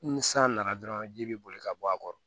Ni san nana dɔrɔn ji bɛ boli ka bɔ a kɔrɔ